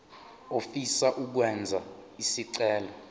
ofisa ukwenza isicelo